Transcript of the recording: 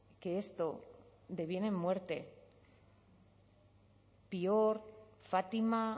que esto deviene en muerte fátima